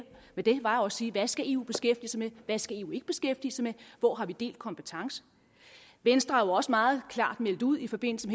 hvad det var og sige hvad skal eu beskæftige sig med hvad skal eu ikke beskæftige sig med hvor har vi delt kompetence venstre har jo også meget klart meldt ud i forbindelse